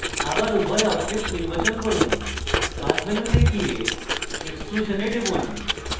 আবার উভয় objects নির্বাচন করুন path মেনুতে যান এবং exclusion এ টিপুন